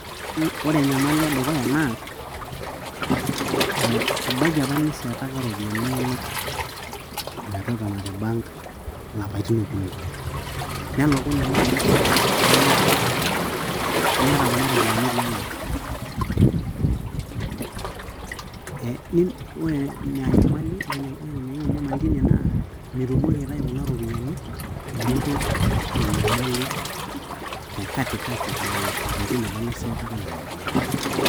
ore enyamali edukuya naa, ebaiki apa niseetaka iropiyiani inonok, metotona te bank ilapaitin okuni, nelokunye naaji shida ninoto, niata kuna ropiyiani etii ena account, ore naa enyamali teine naa mitumoki aitayu kuna ropiyiani inoto enyamali, te katikati lelo apaitin apa liseetaka nena ropiyiani.